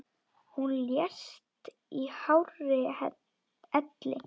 Hún lést í hárri elli.